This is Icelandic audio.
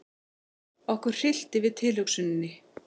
Okkur hryllti við tilhugsuninni.